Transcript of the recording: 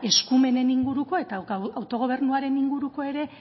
eskumenen inguruko eta autogobernuaren inguruko ere